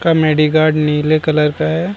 का medi guard नील colour का है |